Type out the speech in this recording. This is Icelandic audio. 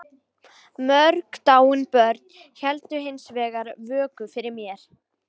Mörg dáin börn héldu hins vegar vöku fyrir mér.